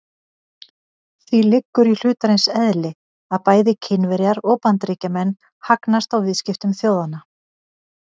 Því liggur í hlutarins eðli að bæði Kínverjar og Bandaríkjamenn hagnast á viðskiptum þjóðanna.